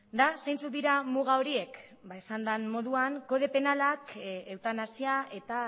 eta zeintzuk dira muga horiek ba esan den moduan kode penalak eutanasia eta